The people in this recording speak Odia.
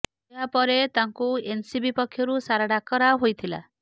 ଏହା ପରେ ତାଙ୍କୁ ଏନ୍ସିବି ପକ୍ଷରୁ ସାରା ଡାକରା ହୋଇଥିଲା